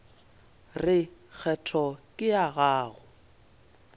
re kgetho ke ya gago